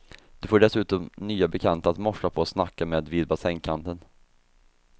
Du får dessutom nya bekanta att morsa på och snacka med vid bassängkanten.